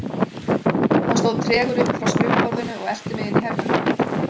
Hann stóð tregur upp frá skrifborðinu og elti mig inn í herbergið mitt.